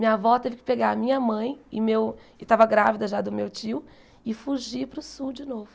Minha avó teve que pegar a minha mãe e meu e estava grávida já do meu tio e fugir para o sul de novo.